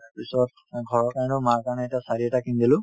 পিছত অ ঘৰৰ কাৰণেও মাৰ কাৰণে এটা saree এটা কিনি দিলো